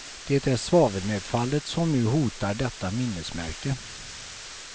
Det är svavelnedfallet som nu hotar detta minnesmärke.